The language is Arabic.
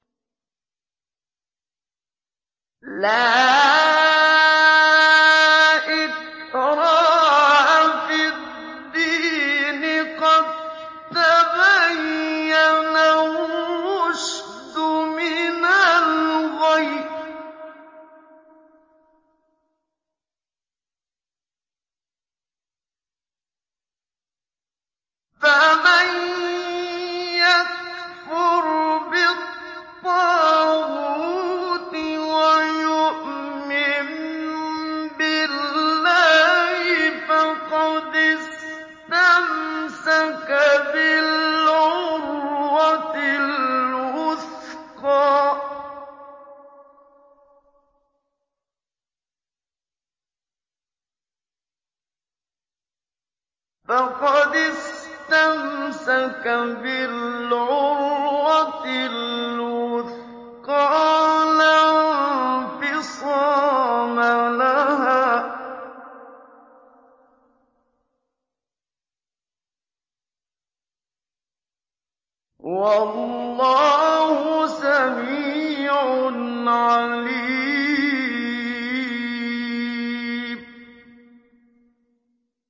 لَا إِكْرَاهَ فِي الدِّينِ ۖ قَد تَّبَيَّنَ الرُّشْدُ مِنَ الْغَيِّ ۚ فَمَن يَكْفُرْ بِالطَّاغُوتِ وَيُؤْمِن بِاللَّهِ فَقَدِ اسْتَمْسَكَ بِالْعُرْوَةِ الْوُثْقَىٰ لَا انفِصَامَ لَهَا ۗ وَاللَّهُ سَمِيعٌ عَلِيمٌ